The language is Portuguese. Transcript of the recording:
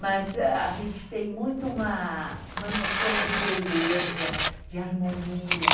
Mas a gente tem muito uma noção de beleza, de harmonia.